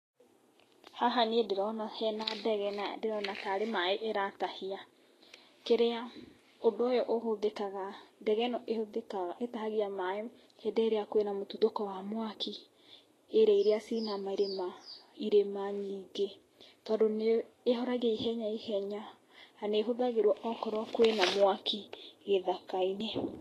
Haha niĩ ndĩrona hena ndege na ndĩrona tarĩ maĩ ĩratahia. Kĩrĩa, ũndũ ũyũ ũhũthĩkaga, ndege ĩno ĩhũthĩkaga ĩtahagia maĩ hĩndĩ ĩrĩa kwĩna mũtuthũko wa mwaki, area iria ciĩna mĩrĩma, irĩma nyingĩ, tondũ nĩ ĩhoragia ihenya ihenya, na nĩ ĩhũthagĩrwo okorwo kwĩna mwaki gĩthaka-inĩ.